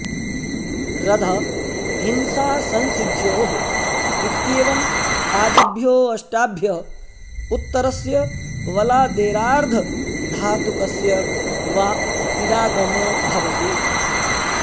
रध हिंसासंसिद्ध्योः इत्येवम् आदिभ्यो ऽष्टाभ्य उत्तरस्य वलादेरार्धधातुकस्य वा इडागमो भवति